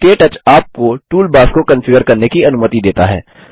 के टच आपको टूलबार्स को कंफिगर करने की अनुमति देता है